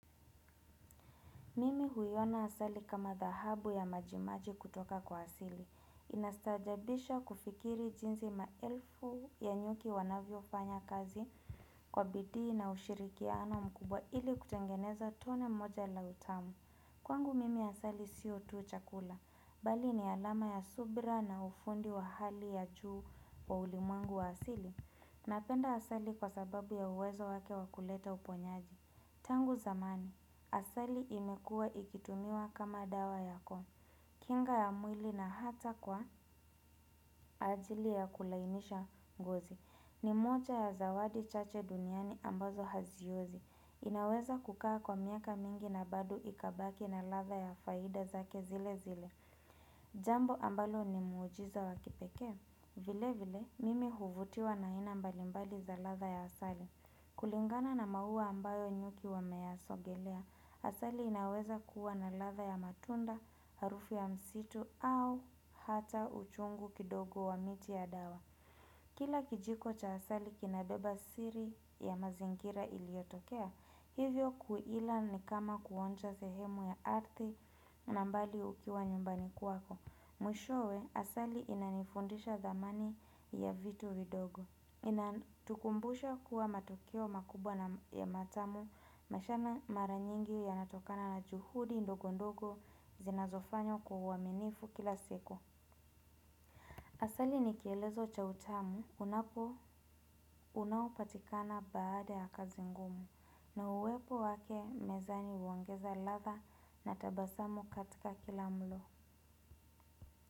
Mimi huiona asali kama dhahabu ya majimaji kutoka kwa asili. Inastaajabisha kufikiri jinsi maelfu ya nyuki wanavyo fanya kazi kwa bidii na ushirikiano mkubwa ili kutengeneza tone moja la utamu. Kwangu mimi asali sio tu chakula. Bali ni alama ya subra na ufundi wa hali ya juu wa ulimwengu wa asili. Napenda asali kwa sababu ya uwezo wake wakuleta uponyaji. Tangu zamani, asali imekua ikitumiwa kama dawa ya koo kinga ya mwili na hata kwa ajili ya kulainisha ngozi ni moja ya zawadi chache duniani ambazo haziozi inaweza kukaa kwa miaka mingi na bado ikabaki na latha ya faida zake zile zile Jambo ambalo ni muujiza wakipekee vile vile, mimi huvutiwa na aina mbalimbali za latha ya asali kulingana na mauua ambayo nyuki wameasogelea, asali inaweza kuwa na latha ya matunda, harufu ya msitu au hata uchungu kidogo wa miti ya dawa. Kila kijiko cha asali kinabeba siri ya mazingira iliotokea, hivyo kuila ni kama kuonja sehemu ya arthi nambali ukiwa nyumbani kwako. Mwisho we, asali inanifundisha dhamani ya vitu vidogo Inatukumbusha kuwa matukio makubwa na matamu Mashana mara nyingi ya natokana na juhudi ndogondogo zinazofanywa kwauaminifu kila siku Asali nikielezo cha utamu, unapo unaopatikana baada ya kazi ngumu na uwepo wake mezani uongeza latha na tabasamu katika kila mlo.